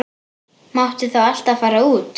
Máttu þá alltaf fara út?